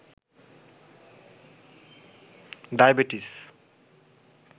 diabetes